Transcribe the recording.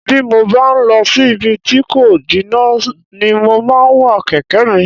Bí mo bá ń lọ sí ibi tí kò jìnnà ni mo máa ń wa kẹ̀kẹ́ mi